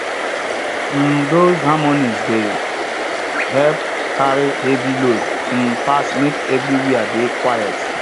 um those harmonies dey help carry heavy loads um pass make everywhere dey quiet